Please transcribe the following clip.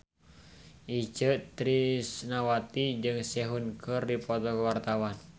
Itje Tresnawati jeung Sehun keur dipoto ku wartawan